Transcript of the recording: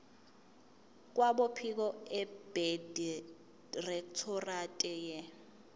kwabophiko abedirectorate ye